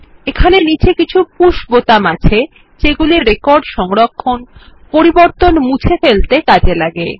এখানে নীচে কিছু পুশ বাটন আছে যেগুলি রেকর্ড সংরক্ষণ পরিবর্তন মুছে ফেলতে কাজে লাগে